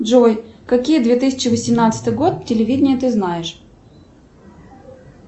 джой какие две тысячи восемнадцатый год телевидение ты знаешь